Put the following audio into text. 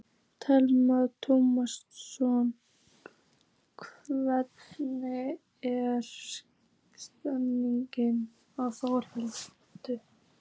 Telma Tómasson: Hvernig er stemningin Þórhildur?